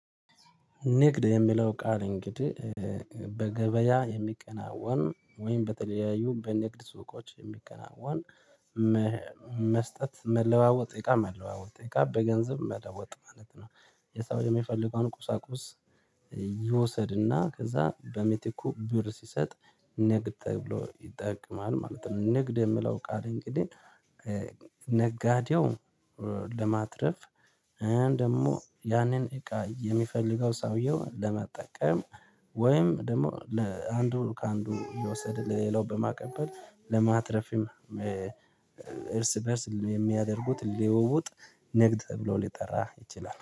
ንግድ የሚለው ቃል እንግዲህ በገበያ የሚከናወን ወይም በተለያዩ በንግድ ሱቆች የሚከናወን። መስጠት መለዋወጥ እቃ መለዋወጥ እቃ በገንዘብ መለወጥ ማለት ነው። የሰው የሚፈልገውን ቁሳቁስ ይወሰድና ከዛ በምቲኩ ብር ሲሰጥ። ንግድ ተብሎ ይጠቅማል ማለት ነው። ንግድ የምለው ቃል እንግዲህ ነጋዴው ለማትረፍ ደግሞ ያንን እቃ የሚፈልገው ሰውየው ለመጠቀም ወይም ደግሞ ለአንዱ ከአንዱ እየወሰደ ለሌላው በማቀበል ለማትረፍም። እርስ በእርስ የሚያደርጉት ሊወውጥ ንግድ ተብሎ ሊጠራ ይችላል